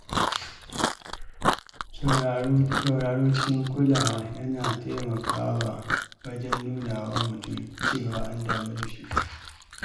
Sauraro cikin kulawa yana taimakawa wajen nuna wa mutum cewa an damu da shi.